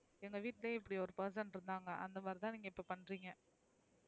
எங்க விட்டுலயே இப்டி ஒரு person இருகாங்க அந்த மாறி தான்நீங்க இப்ப பண்றீங்க,